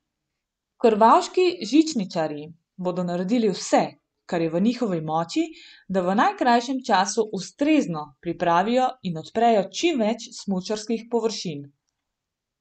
Krvavški žičničarji bodo naredili vse, kar je v njihovi moči, da v najkrajšem času ustrezno pripravijo in odprejo čim več smučarskih površin.